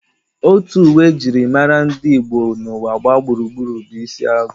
Otu uwe e jiri mara ndị Igbo n'ụwa gbaa gburugburu bụ isi agụ